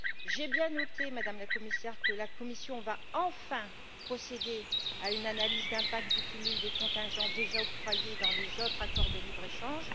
J'ai bien noté, Madame la Commissaire, que la Commission va enfin procéder à une analyse d'impact du cumul des contingents déjà octroyés dans les autres accords de libre échange.